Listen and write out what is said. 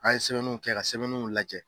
An ye sɛbɛnnunw kɛ ka sɛbɛnnunw lajɛ.